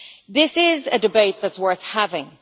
This is a debate that is worth having.